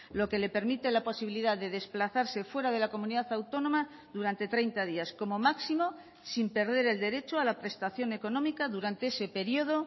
lo que le permite la posibilidad de desplazarse fuera de la comunidad autónoma durante treinta días como máximo sin perder el derecho a la prestación económica durante ese periodo